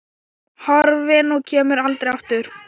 Horfin og kemur aldrei aftur.